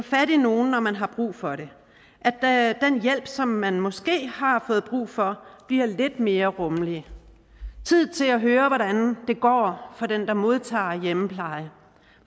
fat i nogen når man har brug for det at den hjælp som man måske har fået brug for bliver lidt mere rummelig tid til at høre hvordan det går for den der modtager hjemmepleje